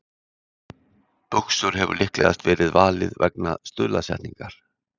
Buxur hefur líklegast verið valið vegna stuðlasetningar.